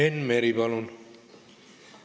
Enn Meri, palun!